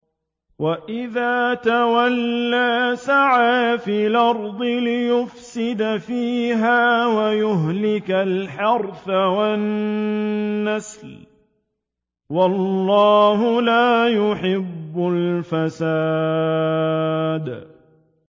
وَإِذَا تَوَلَّىٰ سَعَىٰ فِي الْأَرْضِ لِيُفْسِدَ فِيهَا وَيُهْلِكَ الْحَرْثَ وَالنَّسْلَ ۗ وَاللَّهُ لَا يُحِبُّ الْفَسَادَ